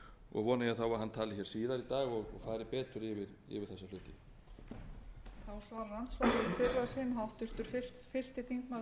og vona ég þá að hann tali síðar í dag og fari betur yfir þessa hluti